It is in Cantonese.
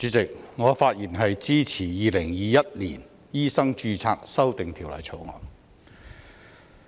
主席，我發言支持《2021年醫生註冊條例草案》。